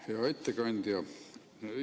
Hea ettekandja!